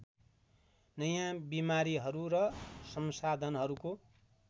नयाँ बिमारीहरू र संसाधनहरूको